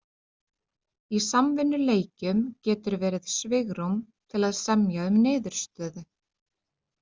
Í samvinnuleikjum getur verið svigrúm til að semja um niðurstöðu.